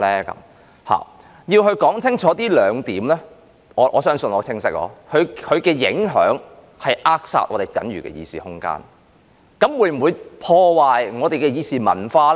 我要說清楚這兩點——我想我的言論是很清晰的——這次修訂的影響就是會扼殺我們僅餘的議事空間；至於會否破壞我們的議事文化？